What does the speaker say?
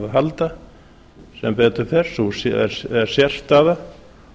halda sem betur fer er sú sérstaða